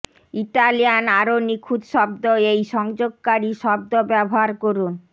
Italian আরও নিখুঁত শব্দ এই সংযোগকারী শব্দ ব্যবহার করুন